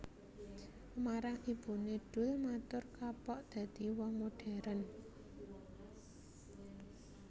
Marang ibuné Doel matur kapok dadi wong moderen